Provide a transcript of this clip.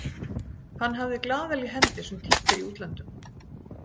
Hann hafði glaðel í hendi sem títt er í útlöndum.